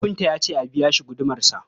Kafinta ya ce a biya shi gudumarsa.